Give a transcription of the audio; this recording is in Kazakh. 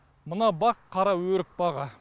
мына бақ қараөрік бағы